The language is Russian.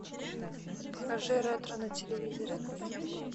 покажи ретро на телевизоре